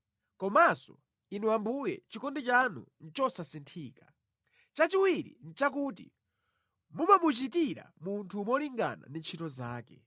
komanso Inu Ambuye, chikondi chanu nʼchosasinthika. Chachiwiri nʼchakuti mumamuchitira munthu molingana ndi ntchito zake.